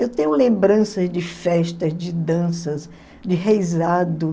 Eu tenho lembranças de festas, de danças, de reisado.